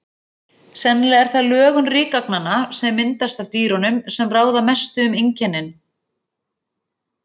Sennilega er það lögun rykagnanna, sem myndast af dýrunum, sem ráða mestu um einkennin.